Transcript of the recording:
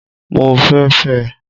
Mo fẹ́ fẹ́ ẹ